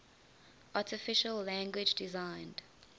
artificial language designed